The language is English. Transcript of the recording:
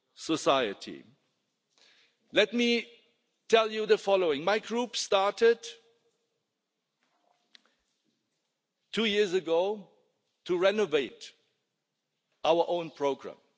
society. Let me tell you the following my Group started two years ago to renew our own programme.